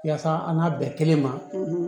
Yasa an ka bɛn kelen ma